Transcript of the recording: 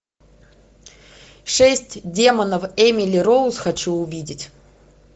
шесть демонов эмили роуз хочу увидеть